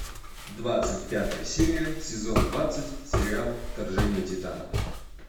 двадцать пятая серия сезон двадцать сериал вторжение титанов